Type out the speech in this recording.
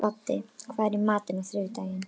Baddi, hvað er í matinn á þriðjudaginn?